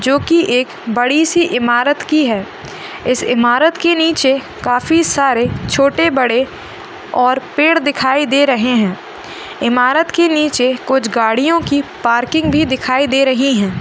जो की एक बड़े से इमारत की है इस इमारत के नीचे काफी सारे छोटे बड़े और पेड़ दिखाई दे रहे है इमारत के नीचे कुछ गाड़ियो की पार्किंग भी दिखाई दे रही है।